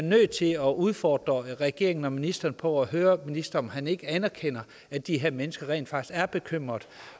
nødt til at udfordre regeringen og ministeren og høre ministeren om han ikke anerkender at de her mennesker rent faktisk er bekymrede